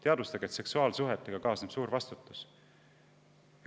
Teadvustage, et seksuaalsuhetega kaasneb suur vastutus!